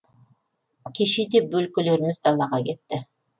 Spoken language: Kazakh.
кеше де бөлкелеріміз далаға кетті